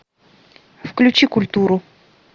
включи культуру